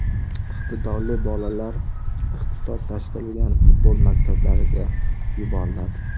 Iqtidorli bolalar ixtisoslashtirilgan futbol maktablariga yuboriladi.